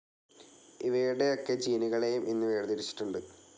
ഇവയുടെയൊക്കെ ജീനുകളെയും ഇന്നു വേർതിരിച്ചിട്ടുണ്ട്.